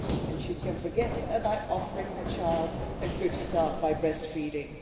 and she can forget about offering her child a good start by breastfeeding.